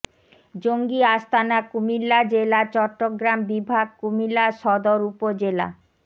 জঙ্গি আস্তানা কুমিল্লা জেলা চট্টগ্রাম বিভাগ কুমিল্লা সদর উপজেলা